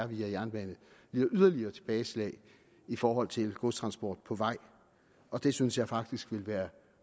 via jernbane lider yderligere tilbageslag i forhold til godstransport på vej og det synes jeg faktisk ville være